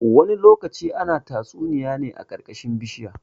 Wasu lokutan ana tatsuniya ne a ƙarƙashin bishinya.